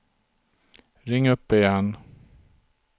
ring upp igen